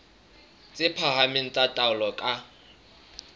tse phahameng tsa taolo ka